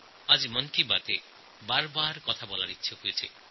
আজ এই অনুষ্ঠানে বিভিন্ন বিষয় নিয়ে কথা বলার ইচ্ছা হল